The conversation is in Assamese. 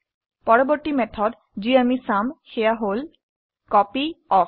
পৰবৰ্তী মেথড যি আমি চাম সেয়া হল কপিঅফ